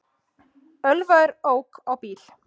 Ölvaður ók á bíl